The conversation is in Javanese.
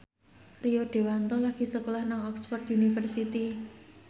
Rio Dewanto lagi sekolah nang Oxford university